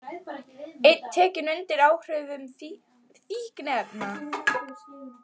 Einn tekinn undir áhrifum fíkniefna